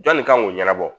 Jɔn nin kan k'o ɲɛnabɔ